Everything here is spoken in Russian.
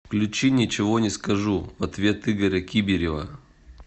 включи ничего не скажу в ответ игоря кибирева